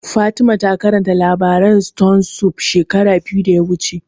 Fatima ta karanta labarin stone soup shekara biyu da suka wuce